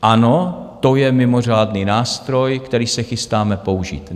Ano, to je mimořádný nástroj, který se chystáme použít.